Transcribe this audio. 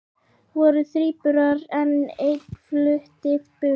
Voru þríburar en ein flutti burt